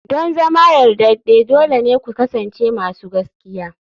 Don zama yardade dole ne ku kasance masu gaskiya.